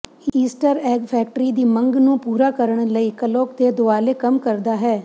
Easter egg factory ਦੀ ਮੰਗ ਨੂੰ ਪੂਰਾ ਕਰਨ ਲਈ ਕਲੌਕ ਦੇ ਦੁਆਲੇ ਕੰਮ ਕਰਦਾ ਹੈ